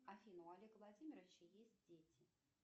афина у олега владимировича есть дети